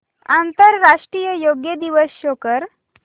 आंतरराष्ट्रीय योग दिवस शो कर